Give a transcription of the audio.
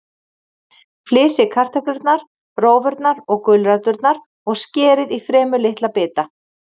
Flysjið kartöflurnar, rófurnar og gulræturnar og skerið í fremur litla bita.